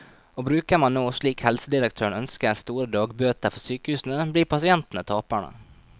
Og bruker man nå, slik helsedirektøren ønsker, store dagbøter for sykehusene, blir pasientene taperne.